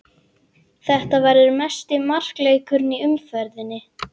Þetta verður mesti markaleikurinn í umferðinni.